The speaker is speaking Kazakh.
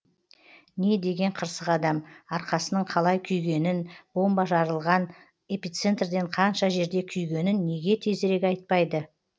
не деген қырсық адам арқасының қалай күйгенін бомба жарылған эпицентрден қанша жерде күйгенін неге тезірек айтпайды